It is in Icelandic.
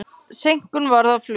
Seinkun varð á flugi.